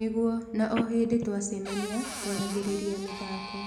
Nĩguo, na o hĩndĩ twacemania, tũaragĩrĩria mĩthako.